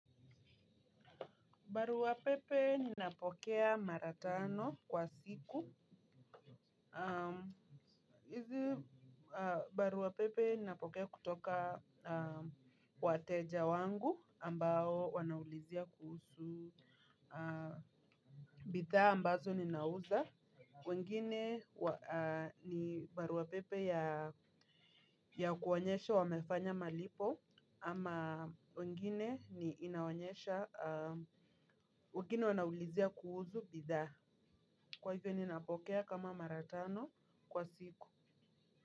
Barua pepe ninapokea mara tano kwa siku. Hizi barua pepe napokea kutoka wateja wangu ambao wanaulizia kuhusu. Bidhaa ambazo ninauza. Wengine ni barua pepe ya kuonyesha wamefanya malipo. Ama wengine ni inaonyesha wengine wanaulizia kuhusu bidhaa. Kwa hivyo ninapokea kama mara tano kwa siku.